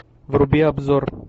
вруби обзор